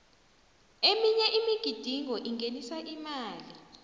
eminye imigidingo ingenisa imali